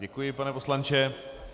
Děkuji, pane poslanče.